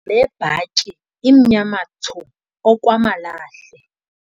Le bhatyi imnyama thsu okwamalahle.